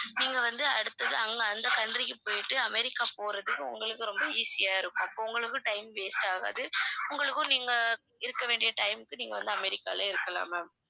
நீங்க வந்து அடுத்தது அங்க அந்த country க்கு போயிட்டு அமெரிக்கா போறதுக்கு உங்களுக்கு ரொம்ப easy ஆ இருக்கும். அப்ப உங்களுக்கு time waste ஆகாது உங்களுக்கும் நீங்க இருக்க வேண்டிய time க்கு நீங்க வந்து அமெரிக்காலே இருக்கலாம் ma'am